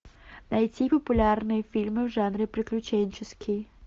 найти популярные фильмы в жанре приключенческий